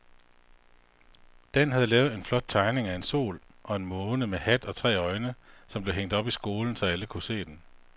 Dan havde lavet en flot tegning af en sol og en måne med hat og tre øjne, som blev hængt op i skolen, så alle kunne se den.